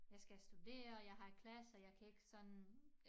Jeg skal studere jeg har klasser jeg kan ikke sådan